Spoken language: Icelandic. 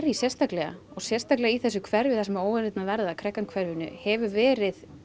sérstaklega og sérstaklega í þessu hverfi sem óeirðirnar verða hverfinu hefur verið